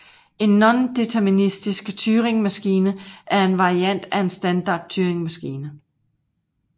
En nondeterministisk Turingmaskine er en variant af en standard Turingmaskine